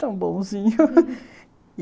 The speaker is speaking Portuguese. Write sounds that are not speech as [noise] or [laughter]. Tão bonzinho [laughs]